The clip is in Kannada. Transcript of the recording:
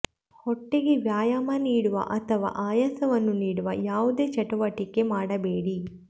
ಹೊಟ್ಟೆಗೆ ವ್ಯಾಯಾಮ ನೀಡುವ ಅಥವಾ ಆಯಾಸವನ್ನು ನೀಡುವ ಯಾವುದೇ ಚಟುವಟಿಕೆ ಮಾಡಬೇಡಿ